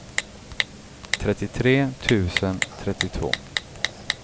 trettiotre tusen trettiotvå